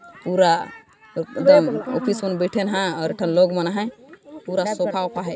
पूरा एकदम ऑफिस में बैठींन हैं और एठन लोग मन आहाय पूरा सोफा वोफा है